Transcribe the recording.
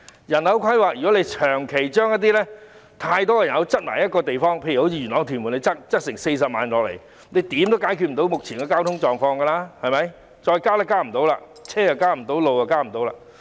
如果長期把太多人口擠在一個地方，例如元朗和屯門將增加40萬人口，怎樣也無法解決目前的交通情況，因為交通工具和道路也無法再增加了。